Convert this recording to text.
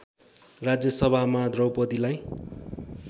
राज्य सभामा द्रौपदीलाई